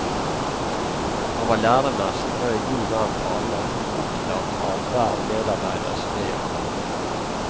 Han var læremester og en god venn for alle, opptatt av hver medarbeiders ve og vel.